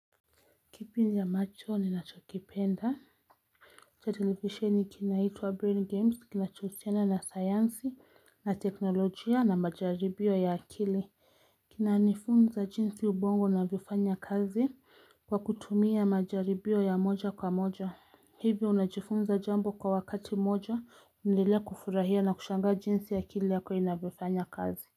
Kipindi ambacho ni nachokipenda cha telivisheni kinahitwa brain games kinachohusiana na sayansi na teknolojia na majaribio ya akili Kinanifunza jinsi ubongo unavyofanya kazi kwa kutumia majaribio ya moja kwa moja Hivyo unajifunza jambo kwa wakati mmoja unaendelea kufurahia na kushangaa jinsi akili yako inavyoifanya kazi.